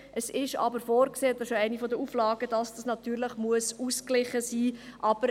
es ist aber vorgesehen – das ist eine der Auflagen –, dass dieses natürlich ausgeglichen sein muss.